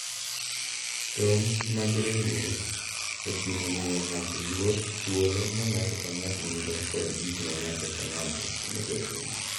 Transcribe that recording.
Tong' mag ringruok oting'o miyo ng’ato luor thuolo ma ng’ato ka ng’ato nigo kod gik ma ng’ato ka ng’ato onego otim.